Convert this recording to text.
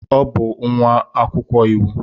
Ọ bụ nwa akwụkwọ iwu.